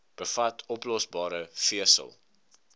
bevat oplosbare vesel